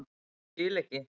Ég skil ekki.